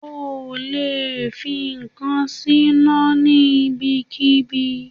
O lè fi ǹkan síná ní ibikíbi.